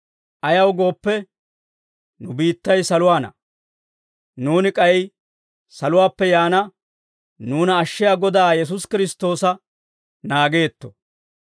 Ayaw gooppe, nu biittay saluwaana; nuuni k'ay saluwaappe yaana nuuna ashshiyaa Godaa Yesuusi Kiristtoosa naageetto.